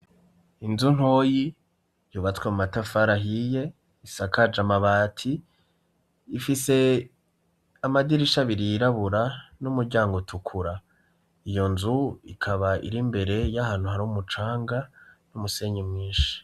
Inzu ntoyi yubatswe mu matafar 'ahiye isakaj'amabati, ifise amadirish 'abiri yirabura n'umuryang'utukura, iyo nzu ikaba ir'imbere y'ahantu har'umucanga n'umusenyi mwinshi.